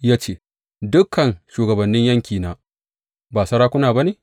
Ya ce, Dukan shugabannin yaƙina ba sarakuna ba ne?’